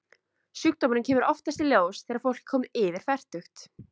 Sjúkdómurinn kemur oftast í ljós þegar fólk er komið yfir fertugt.